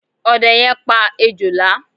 Ọdẹ yẹn pa Ejòlá.